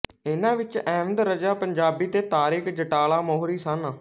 ਇਨ੍ਹਾਂ ਵਿੱਚ ਅਹਿਮਦ ਰਜ਼ਾ ਪੰਜਾਬੀ ਤੇ ਤਾਰਿਕ ਜਟਾਲਾ ਮੋਹਰੀ ਸਨ